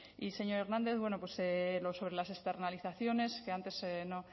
y señor hernández bueno pues lo sobre las externalizaciones que antes no